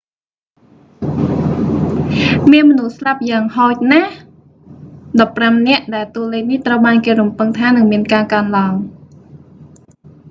មានមនុស្សស្លាប់យ៉ាងហោចណាស់ 15 នាក់ ដែលតួលេខនេះត្រូវបានគេរំពឹងថានឹងមានការកើនឡើង